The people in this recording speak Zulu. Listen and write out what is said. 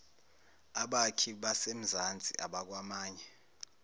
abakhi basemzansi abakwamanye